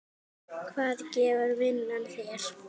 Hvað gefur vinnan þér?